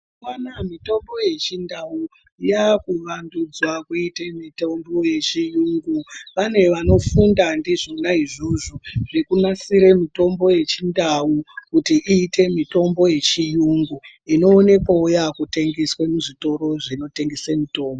Mazuva anaa mitombo yechindau yaakuvandudzwa kuite mitombo yechiyungu. Pane vanofunda ndizvona izvozvo zvekunasire mitombo yechindau kuti iite mitombo yechiyungu inoonekwawo yaakutengeswe muzvitoro zvinotengese mutombo.